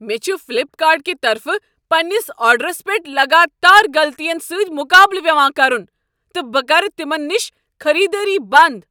مےٚ چھُ فلیپکارٹ کہ طرفہٕ پننس آرڈرس پیٹھ لگاتار غلطین سۭتۍ مقابلہٕ پیوان کرُن تہٕ بہٕ کرٕ تمن نشہ خریدٲری بنٛد۔